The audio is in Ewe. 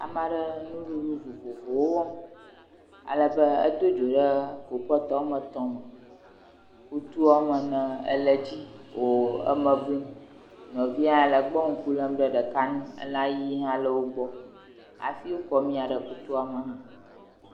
Ame aɖe nuɖuɖu vovovowo wɔm, alabe edo dzo ɖe klipɔt woame etɔ me alabe kutu woame ene le edzi wo eme blum. Nuvia hã le egbɔ e ŋku lem ɖe nu. Ela yiyi hã le egbɔ hafi wokɔ amia ɖe kutua me.